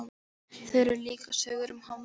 Það eru líka sögur um hafmeyjar.